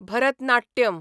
Bharatanatyam